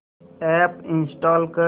app install कर